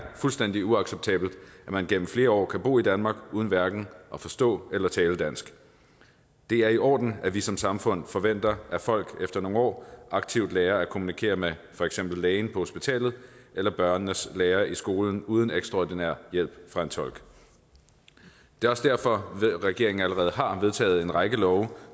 fuldstændig uacceptabelt at man gennem flere år kan bo i danmark uden hverken at forstå eller tale dansk det er i orden at vi som samfund forventer at folk efter nogle år aktivt lærer at kommunikere med for eksempel lægen på hospitalet eller børnenes lærer i skolen uden ekstraordinær hjælp fra en tolk det er også derfor regeringen allerede har vedtaget en række love